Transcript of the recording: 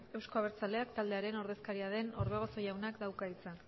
euzko abertzaleak taldearen ordezkaria den orbegozo jaunak dauka hitza